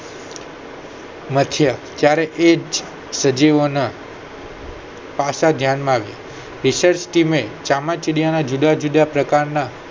મથ્યા ત્યારે એ જ સજીવો ના પાસા ધ્યાન માં આવી research team એ ચામાચીડિયા ને જુદાં જુદાં પ્રકાર ના